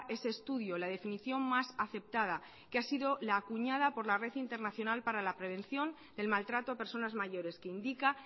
ese estudio la definición más aceptada que ha sido la acuñada por la red internacional para la prevención del maltrato a personas mayores que indica